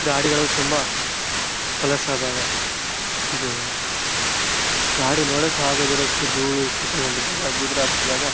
ಗಾಡಿಗಳು ತುಂಬಾ ಹೊಲಸಾದಾಗ ಇದು ಗಾಡಿ ನೋಡಕ್ಕೆ ಆಗದಿರೋಷ್ಟು ಧೂಳು ಕೂತ್ಕೊಂಡಿದ್ದಾಗ ಹಚ್ಚಿದಾಗ --